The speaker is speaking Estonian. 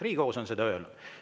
Riigikohus on seda öelnud.